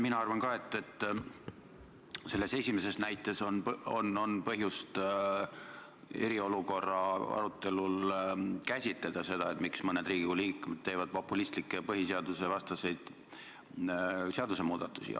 Mina arvan ka selle esimese näite kohta, et on põhjust eriolukorra arutelul käsitleda seda, miks mõned Riigikogu liikmed teevad populistlikke põhiseadusvastaseid seadusemuudatusi.